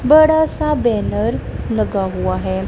बड़ा सा बैनर लगा हुआ है।